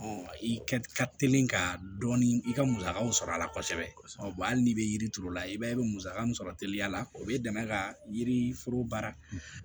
i kɛ ka teli ka dɔɔnin i ka musakaw sɔrɔ a la kosɛbɛ hali n'i bɛ yiri turu i b'a ye i bɛ musaka min sɔrɔ teliya la o bɛ dɛmɛ ka yiri foro baara